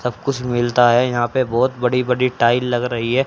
सब कुछ मिलता है यहां पे बहोत बड़ी बड़ी टाईल लग रही है।